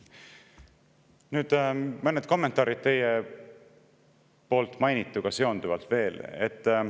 Nüüd mõned kommentaarid teie mainituga seonduvalt veel.